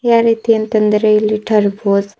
ಯಾ ರೀತಿ ಅಂತ ಅಂದ್ರೆ ಇಲ್ಲಿ ಟರ್ಬೊಜ್--